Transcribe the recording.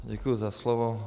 Děkuji za slovo.